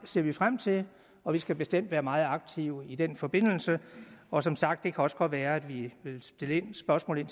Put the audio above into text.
ser vi frem til og vi skal bestemt være meget aktive i den forbindelse og som sagt kan det også godt være at vi vil stille spørgsmål